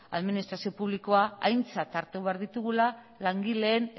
administrazio publikoa aintzat hartu behar ditugula langileen